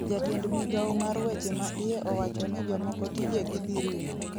jatend Migao mar weche ma iye owachoni jomoko tijegi dhi rumo